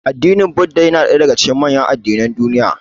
Addinin Buddah na ɗaya daga cikin manyan addinan duniya.